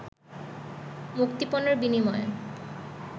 মুক্তিপণের বিনিময়ে